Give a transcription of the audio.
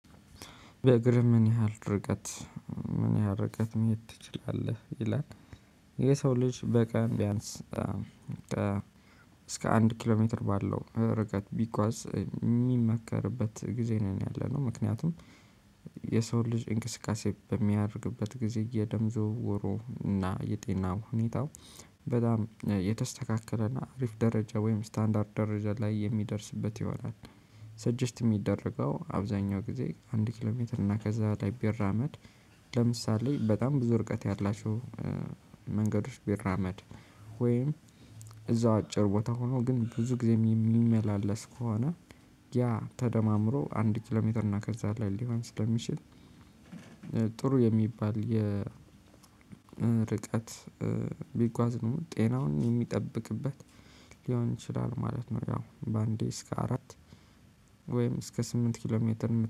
በእግር ምን ያህል ርቀት ምን ያህል ርቀት መሄድ ትችላለህ? ይላል የሰው ልጅ በቃን ቢያንስ እስከ አንድ ኪሎ ሜትር ባለው ርቀት ቢጓዝ የሚመከርበት ጊዜ ነው። ያለነው ምክንያቱም የሰው ልጅ እንቅስቃሴ በሚያደርግበት ጊዜ የደም ዝውውሩ እና የጤናው ሁኔታው በጣም የተስተካከለና አሪፍ ደረጃ ወይም ስታንዳርድ ደረጃ ላይ የሚደርስበት ይሆናል። ሰጀስት የሚደረገው አብዛኛው ጊዜ አንድ ኪሎሜትር እና ከዛ በላይ ቢራመድ። ለምሳሌ በጣም ብዙ ርቀት ያላቸው መንገዶች ቢራመድ ወይም እዛው አጭር ቦታ ሆኖ ግን ብዙ ጊዜ የሚመላለስ ከሆነ ያ ተደማምሮ አንድ ኪሎ ሜትር እና ከዛ ላይ ሊሆን ስለሚችል። ጥሩ የሚባል ርቀት ቢጓዝ ነው ጤናውን የሚጠብቅበት ሊሆን ይችላል ማለት ነው። ያው በአንዴ እስከ አራት ወይም እስከ ስምንት ኪሎ ሜትር